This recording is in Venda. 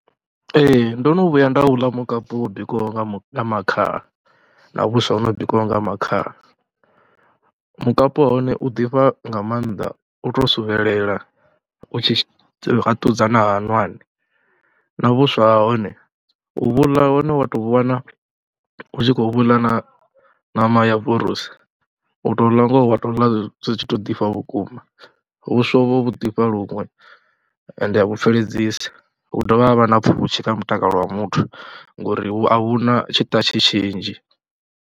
Ee ndo no vhuya nda uḽa mukapu wo bikiwho nga makhaha na vhuswa ho no bikiwaho nga makhaha. Mukapu wa hone u ḓifha nga maanḓa, u tou suvhelela, u tshi na hwaṋwani na vhuswa ha hone u vhu ḽa, hone wa tou wana hu tshi khou vhu ḽa na ṋama ya vorosi u tou ḽa ngoho wa tou ḽa zwi tshi tou ḓifha vhukuma, vhuswa uvho vhu ḓifha luṅwe ende a vhu pfheledzisi hu dovha ha vha na pfhushi kha mutakalo wa muthu ngori a vhu na tshiṱatshi tshinzhi.